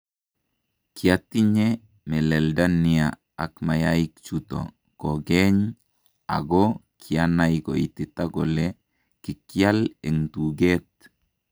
Kiatinye melelda nia ak mayayik chuto kokeeny ako kianai koitita kole kikyaal en tukeet